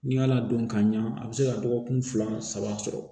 Ni y'a ladon ka ɲa a bi se ka dɔgɔkun fila saba sɔrɔ